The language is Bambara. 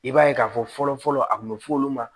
I b'a ye k'a fɔ fɔlɔ fɔlɔ a kun bɛ f'olu ma